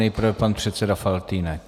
Nejprve pan předseda Faltýnek.